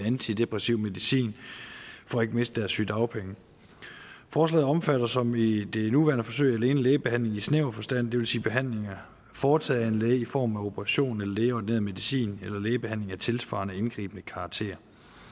antidepressiv medicin for ikke at miste deres sygedagpenge forslaget omfatter som i det nuværende forsøg alene lægebehandling i snæver forstand det vil sige behandlinger foretaget af en læge i form af operation eller lægeordineret medicin eller lægebehandling af tilsvarende indgribende karakter